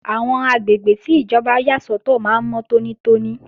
Àwọn àgbègbè tí ìjọba yà sọ́tọ̀ máa ń mọ́ tónítóní